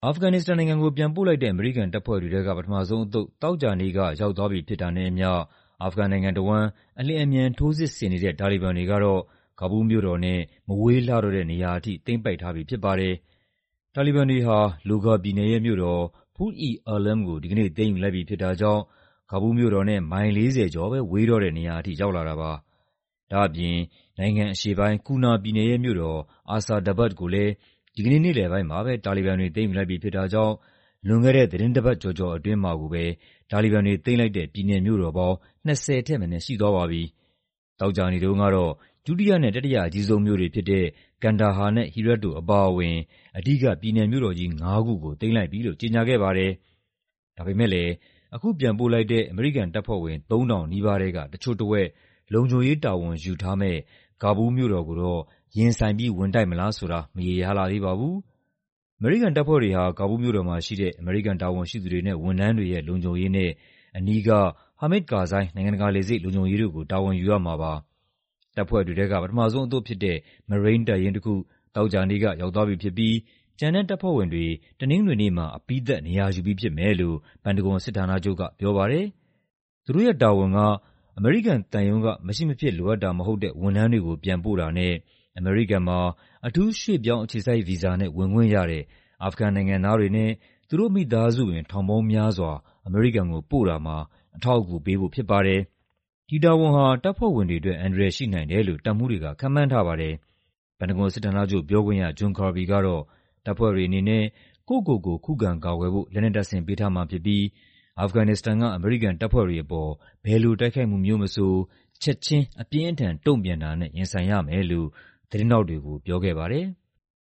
အာဖဂန်နစ္စတန်နိုင်ငံကို ပြန်ပို့လိုက်တဲ့ အမေရိကန်တပ်ဖွဲ့တွေထဲက ပထမဆုံးအသုတ် သောကြာနေ့က ရောက်သွားပြီဖြစ်တာနဲ့အမျှ အာဖဂန်နိုင်ငံတဝန်း အလျင် အမြန် ထိုးစစ်ဆင်နေတဲ့ တာလီဘန်တွေကတော့ ကာဘူးလ်မြို့တော်နဲ့ မဝေးလှတော့တဲ့နေရာထိ သိမ်းပိုက်ထားပြီဖြစ်ပါတယ်။ တာလီဘန်တွေဟာ လိုဂါပြည်နယ်ရဲ့မြို့တော် Pul-e-Alam ကို ဒီကနေ့ သိမ်းယူလိုက်ပြီဖြစ်တာကြောင့် ကာဘူးလ်မြို့တော်နဲ့ မိုင် ၄၀ ကျော်ပဲ ဝေးတော့တဲ့နေရာထိ ရောက်လာတာပါ။ ဒါ့အပြင် နိုင်ငံအရှေ့ပိုင်း ကူနာပြည်နယ်ရဲ့မြို့တော် Asadabad ကိုလည်း ဒီကနေ့ နေ့လည်ပိုင်းမှာပဲ တာလီဘန်တွေ သိမ်းယူလိုက်ပြီဖြစ်တာကြောင့် လွန်ခဲ့တဲ့ သီတင်းပတ်တပတ်ကျော်ကျော်အတွင်းမှာကိုပဲ တာလီဘန်တွေသိမ်းလိုက်တဲ့ ပြည်နယ်မြို့တော်ပေါင်း ၂၀ ထက်မနည်းရှိသွားပါပြီ။ သောကြာနေ့တုံးကတော့ ဒုတိယနဲ့ တတိယအကြီးဆုံးမြို့တွေဖြစ်တဲ့ ကန်ဒါဟာနဲ့ ဟီရတ်တို့အပါအဝင် အဓိက ပြည်နယ်မြို့တော်ကြီးငါးခုကို သိမ်းလိုက်ပြီလို့ ကြေညာခဲ့ပါတယ်။ ဒါပေမယ့်လည်း အခုပြန်ပို့လိုက်တဲ့ အမေရိကန်တပ်ဖွဲ့ဝင် ၃,၀၀၀ နီးပါးထဲက တချို့တဝက် လုံခြုံရေး တာဝန်ယူထားမယ့် ကာဘူးလ်မြို့တော်ကို ရင်ဆိုင်ပြီး ဝင်တိုက်မလားဆိုတာကတော့ မရေရာလှသေးပါဘူး။ အမေရိကန်တပ်ဖွဲ့တွေဟာ ကာဘူးလ်မြို့တော်မှာရှိတဲ့ အမေရိကန်တာဝန်ရှိသူတွေနဲ့ ဝန်ထမ်းတွေရဲ့ လုံခြုံရေးနဲ့ အနီးက ဟာမစ်ဒ် ကာဇိုင်း နိုင်ငံတကာလေဆိပ် လုံခြုံရေးတို့ကို တာဝန်ယူရမှာပါ။ တပ်ဖွဲ့တွေထဲက ပထမဆုံးအသုတ်ဖြစ်တဲ့ မရိန်းတပ်ရင်းတခု သောကြာနေ့က ရောက်သွားပြီဖြစ်ပြီး ကျန်တဲ့တပ်ဖွဲ့ဝင်တွေ တနင်္ဂနွေနေ့မှာ အပြီးသတ် နေရာယူပြီးဖြစ်မယ်လို့ ပန်တဂွန်စစ်ဌာနချုပ်က ပြောပါတယ်။ သူတို့ရဲ့တာဝန်က အမေရိကန်သံရုံးက မရှိမဖြစ်လိုအပ်တာမဟုတ်တဲ့ ဝန်ထမ်းတွေကိုပြန်ပို့တာနဲ့ အမေရိကန်မှာ အထူးရွှေ့ပြောင်းအခြေစိုက်ဗီဇာနဲ့ ဝင်ခွင့်ရတဲ့ အာဖဂန်နိုင်ငံသားတွေနဲ့ သူတို့မိသားစုဝင် ထောင်ပေါင်းများစွာ အမေရိကန်ကိုပို့တာမှာ အထောက်အကူပေးဖို့ဖြစ်ပါတယ်။ ဒီတာဝန်ဟာ တပ်ဖွဲ့ဝင်တွေအတွက် အန္တရာယ်ရှိနိုင်တယ်လို့ တပ်မှူးတွေက ခန့်မှန်းထားပါတယ်။ ပန်တဂွန်စစ်ဌာနချုပ်ပြောခွင့်ရ John Kirby ကတော့ တပ်ဖွဲ့တွေအနေနဲ့ ကိုယ့်ကိုယ်ကိုခုခံကာကွယ်ဖို့ လက်နက်တပ်ဆင်ပေးထားမှာဖြစ်ပြီး အာဖဂန်နစ္စတန်က အမေရိကန်တပ်ဖွဲ့တွေအပေါ်ဘယ်လိုတိုက်ခိုက်မှုမျိုးမဆို ချက်ခြင်း အပြင်းအထန် တုံ့ပြန်တာနဲ့ ရင်ဆိုင်ရမယ်လို့ သတင်းထောက်တွေကို ပြောခဲ့ပါတယ်။